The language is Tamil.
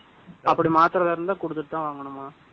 அப்படி மாத்தறதா இருந்தா, குடுத்துட்டு தான் வாங்கணுமா?